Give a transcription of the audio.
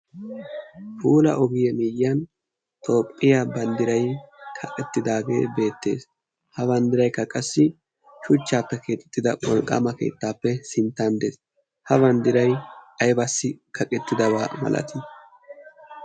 Puula ogiye miiyyan toophphiyaa banddiray kaqqettidaagee beettees. ha banddirayka qassi shuchchaappe keexettida wolqqaama keettaappe sinttan de'ees. ha banddiray aybassi kaqqettidabaa malatii?